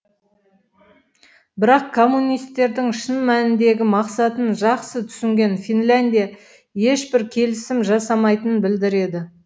бірақ коммунистердің шын мәніндегі мақсатын жақсы түсінген финляндия ешбір келісім жасамайтынын білдіреді